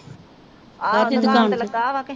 ਆਹੋ ਦੁਕਾਨ ਤੇ ਲੱਗਾ ਵ ਕੇ।